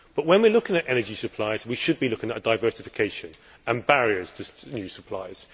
But when we are looking at energy supplies we should be looking at diversification and barriers to new supplies.